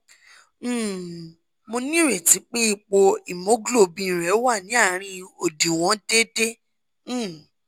um mo nírètí pé ipò hemoglobin rẹ wà ní àárín òdiwọ̀n déédé um